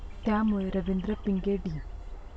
त्यामुळे रवींद्र पिंगे, डी.